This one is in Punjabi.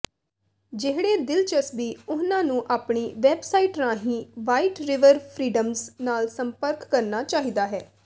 ਜਿਹੜੇ ਦਿਲਚਸਪੀ ਉਨ੍ਹਾਂ ਨੂੰ ਆਪਣੀ ਵੈਬਸਾਈਟ ਰਾਹੀਂ ਵਾਈਟ ਰਿਵਰ ਫ੍ਰੀਡਮਜ਼ ਨਾਲ ਸੰਪਰਕ ਕਰਨਾ ਚਾਹੀਦਾ ਹੈ